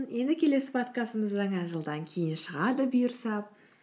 енді келесі подкастымыз жаңа жылдан кейін шығады бұйырса